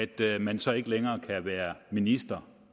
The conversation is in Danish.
den at man så ikke længere kan være minister